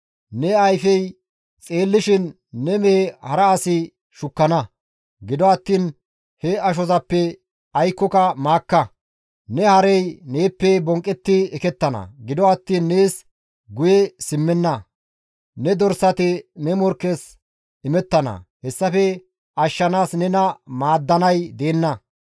Ne ayfey xeellishin ne mehe hara asi shukkana; gido attiin he ashozappe aykkoka maakka; ne harey neeppe bonqqetti ekettana; gido attiin nees guye simmenna; ne dorsati ne morkkes imettana; hessafe ashshanaas nena maaddanay deenna.